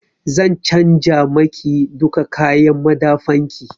Zan canja ma ki duka kayan madafan ki.